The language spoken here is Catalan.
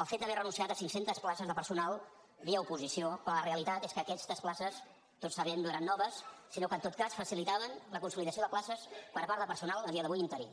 el fet d’haver renunciat a cinc centes places de personal via oposició quan la realitat és que aquestes places tots ho sabem no eren noves sinó que en tot cas facilitaven la consolidació de places per part de personal a dia d’avui interí